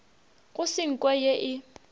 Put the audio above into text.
go se nko ye e